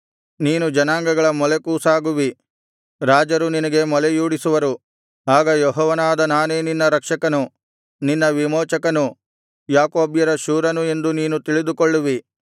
ನೀನು ಜನಾಂಗಗಳ ಮೊಲೆಕೂಸಾಗುವಿ ರಾಜರು ನಿನಗೆ ಮೊಲೆಯೂಡಿಸುವರು ಆಗ ಯೆಹೋವನಾದ ನಾನೇ ನಿನ್ನ ರಕ್ಷಕನು ನಿನ್ನ ವಿಮೋಚಕನು ಯಾಕೋಬ್ಯರ ಶೂರನು ಎಂದು ನೀನು ತಿಳಿದುಕೊಳ್ಳುವಿ